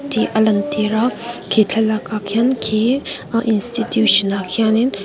tih a lan tir a khi thlalak ah khian khi ahh institution ah khianin--